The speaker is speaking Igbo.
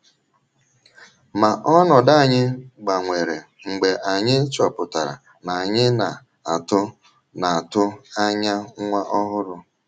Ma ọnọdụ anyị gbanwere mgbe anyị chọpụtara na anyị na - atụ na - atụ anya nwa ọhụrụ.